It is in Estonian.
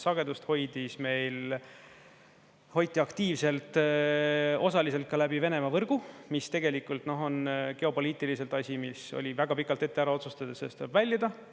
Sagedust meil hoiti aktiivselt osaliselt ka läbi Venemaa võrgu, mis tegelikult on geopoliitiliselt asi, mis oli vaja väga pikalt ette ära otsustada, et tuleb väljuda.